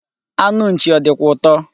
Anụ nchi o dikwa uto?